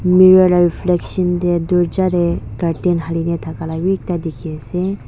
mirror la reflection tae dorja tae curtain hali na thaka bi ekta dikhiase.